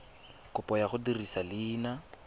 kopo ya go dirisa leina